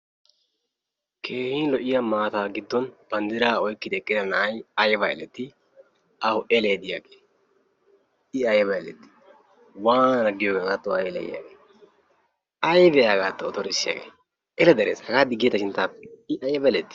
Keehin lo'iya maattaa giddon bandraa oyqqidi eqqida na'y ayba eletti? Awu elee diyagee I ayba elettii waanana giyogee a hagatoo a eleyiyagee aybee a hagaatto ottorssiyagee ele darees I ayba elettii?